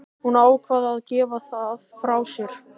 Hún ákvað að gefa það frá sér.